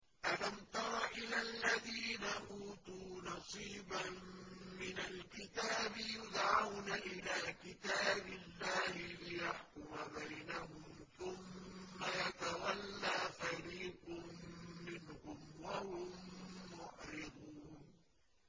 أَلَمْ تَرَ إِلَى الَّذِينَ أُوتُوا نَصِيبًا مِّنَ الْكِتَابِ يُدْعَوْنَ إِلَىٰ كِتَابِ اللَّهِ لِيَحْكُمَ بَيْنَهُمْ ثُمَّ يَتَوَلَّىٰ فَرِيقٌ مِّنْهُمْ وَهُم مُّعْرِضُونَ